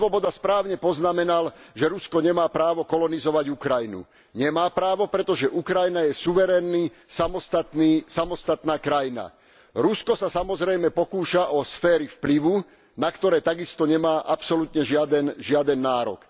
Hannes Swoboda správne poznamenal, že Rusko nemá právo kolonizovať Ukrajinu. Nemá právo, pretože Ukrajina je suverénna, samostatná krajina. Rusko sa samozrejme pokúša o sféry vplyvu, na ktoré takisto nemá absolútne žiaden nárok.